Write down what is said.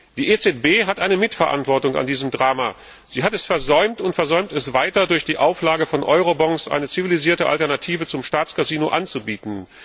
Die EZB hat eine Mitverantwortung an diesem Drama. Sie hat es versäumt und versäumt es weiter, durch die Auflage von Eurobonds eine zivilisierte Alternative zum Staatscasino anzubieten.